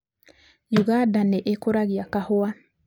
Uganda nĩ ĩĩkũragia kahua.